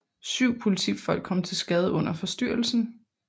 Syv politifolk kom til skade under forstyrrelsen